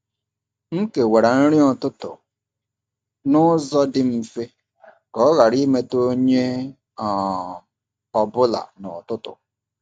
M kewara nri ụtụtụ n’ụzọ dị mfe ka ọ ghara imetụ onye um ọ bụla n’ụtụtụ.